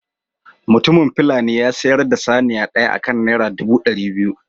Mutumin fulani ya sayar da saniya ɗaya akan naira ɗubu ɗari biyu.